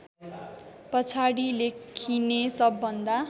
पछाडि लेखिने सबभन्दा